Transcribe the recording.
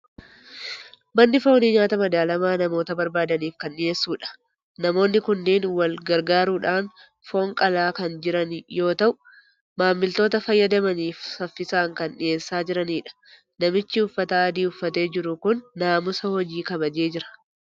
Manni foonii nyaata madaalamaa namoota barbaadaniif kan dhiyeessudha. Namoonni kunneen wal gargaaruudhaan foon qalaa kan jiran yoo ta'u, maamiltoota fayyadamaniif saffisaan kan dhiyeessaa jiranidha. Namichi uffata adii uffatee jiru kun naamusa hojii kabajee jira.